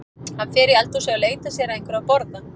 Hann fer í eldhúsið og leitar sér að einhverju að borða.